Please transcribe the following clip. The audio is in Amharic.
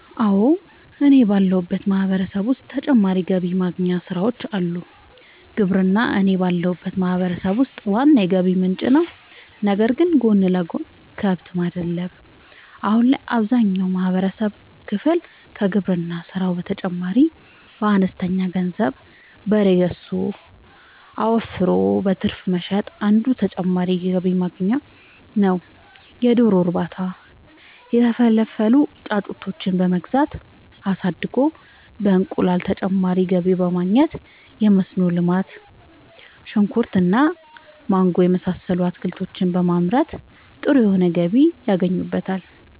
አወ እኔ ባለሁበት ማህበረሰብ ዉስጥ ተጨማሪ ገቢ ማግኛ ስራወች አሉ። ግብርና እኔ ባለሁበት ማህበረሰብ ውስጥ ዋና የገቢ ምንጭ ነዉ ነገር ግን ጎን ለጎን :- ከብት ማድለብ :- አሁን ላይ አብዛኛውን የማህበረሰብ ክፍል ከግብርና ስራው በተጨማሪ በአነስተኛ ገንዘብ በሬ ገዝቶ አወፍሮ በትርፍ መሸጥ አንዱ ተጨማሪ የገቢ ማግኛ ነዉ የዶሮ እርባታ:- የተፈለፈሉ ጫጩቶችን በመግዛት አሳድጎ በእንቁላል ተጨማሪ ገቢ ማግኘት የመስኖ ልማት :-ሽንኩርት እና ማንጎ የመሳሰሉት አትክልቶችን በማምረት ጥሩ የሆነ ገቢ ያገኙበታል